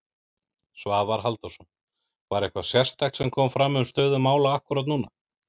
Svavar Halldórsson: Var eitthvað sérstakt sem kom fram um stöðu mála akkúrat núna?